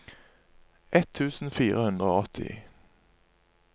ett tusen fire hundre og åtti